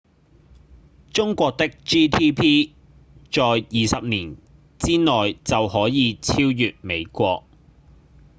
中國的 gdp 在20年之內就可能超過美國